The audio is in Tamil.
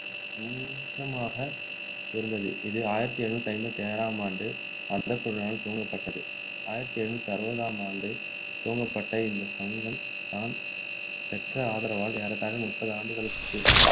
சங்கமாக இருந்தது இது ஆயிரத்து எழுநூற்று ஐம்பத்து ஆறாம் ஆண்டு மத குழுவினரால் துவங்கப்பட்டது ஆயிரத்து எழுநூற்று அறுபதாம் ஆண்டு துவங்கப்பட்ட இந்த சங்கம் தான் பெற்ற ஆதரவால் ஏறத்தாழ முப்பது ஆண்டுகளுக்கு